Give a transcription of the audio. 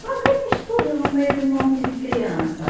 Mas o que é que estuda no meio de um monte de criança?